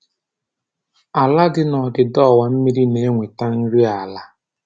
Ala dị na ndịda ọwa mmiri na-enweta nri ala